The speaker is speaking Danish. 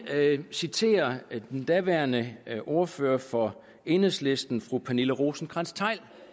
citere den daværende ordfører for enhedslisten fru pernille rosenkrantz theil